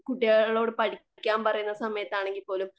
കുട്ടികളോട് പഠിക്കാൻ പറയുന്ന സമയത്താണെങ്കിൽ പോലും